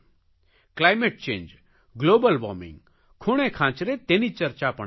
climate change global warming ખૂણેખાંચરે તેની ચર્ચા પણ છે